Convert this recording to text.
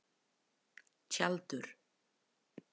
Tjaldur